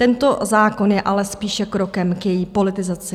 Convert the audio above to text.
Tento zákon je ale spíše krokem k její politizaci.